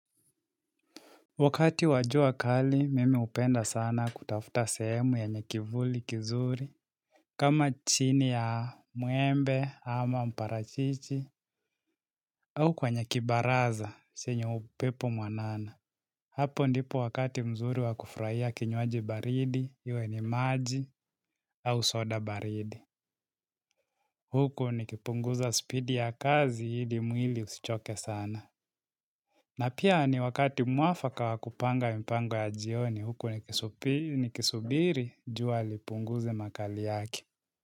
Wakati wa jua kali, mimi hupenda sana kutafuta sehemu yenye kivuli kizuri, kama chini ya muembe ama mparachichi, au kwa kwenye kibaraza, saa yenye upepo mwanana. Hapo ndipo wakati mzuri wakufrahia kinywaji baridi, iwe ni maji, au soda baridi. Huko nikipunguza spidi ya kazi, ili mwili usichoke sana. Na pia ni wakati mwafaka wakupanga mipango ya jioni huku nikisubiri Wakati wajua kali, mimi hupenda sana kutafuta sehemu yenye kivuli kizuri, kama chini ya muembe ama mparachichi, au kwenye kibaraza, saa yenye upepo mwanana.